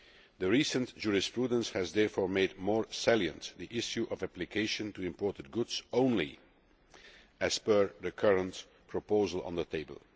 The recent jurisprudence has therefore made more salient the issue of application to imported goods only as per the current proposal on the table.